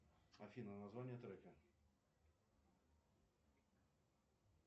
афина название трека